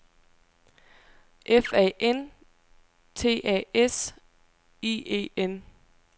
F A N T A S I E N